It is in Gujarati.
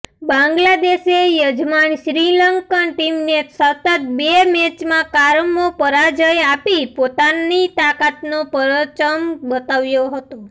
બાંગ્લાદેશે યજમાન શ્રીલંકન ટીમને સતત બે મેચમાં કારમો પરાજય આપી પોતાની તાકાતનો પરચમ બતાવ્યો હતો